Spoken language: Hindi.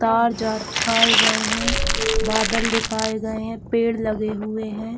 तार-जार दिखाए गए है बादल दिखाए गए है पेड़ लगे हुए है।